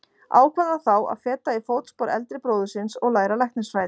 Ákvað hann þá að feta í fótspor eldri bróður síns og læra læknisfræði.